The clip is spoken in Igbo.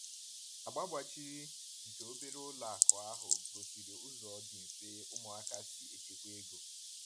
Agba gbachiri nke obere ụlọ akụ ahụ gosiri ụzọ dị mfe ụmụaka si echekwa ego.